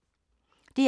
DR2